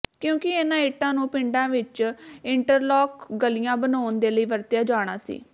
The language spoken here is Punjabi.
ਕਿਉਂਕਿ ਇਨ੍ਹਾਂ ਇੱਟਾਂ ਨੂੰ ਪਿੰਡਾਂ ਵਿੱਚ ਇੰਟਰਲਾਕ ਗਲੀਆਂ ਬਣਾਉਣ ਦੇ ਲਈ ਵਰਤਿਆ ਜਾਣਾ ਸੀ